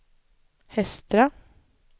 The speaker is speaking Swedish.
Hestra